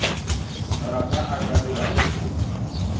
rata a ka dirago se